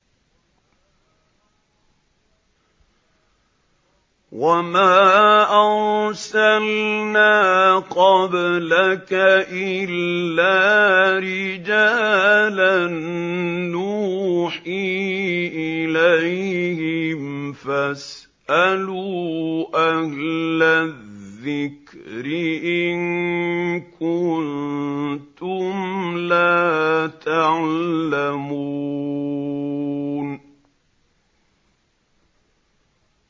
وَمَا أَرْسَلْنَا قَبْلَكَ إِلَّا رِجَالًا نُّوحِي إِلَيْهِمْ ۖ فَاسْأَلُوا أَهْلَ الذِّكْرِ إِن كُنتُمْ لَا تَعْلَمُونَ